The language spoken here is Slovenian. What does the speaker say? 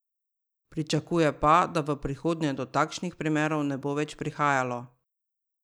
Pričakuje pa, da v prihodnje do takšnih primerov ne bo več prihajalo.